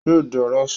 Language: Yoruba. Yóò di aráṣọ